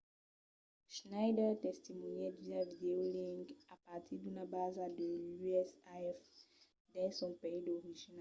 schneider testimonièt via videolink a partir d’una basa de l’usaf dins son país d'origina